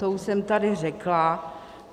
To už jsem tady řekla.